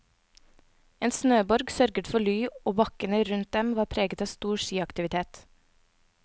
En snøborg sørget for ly og bakkene rundt dem var preget av stor skiaktivitet.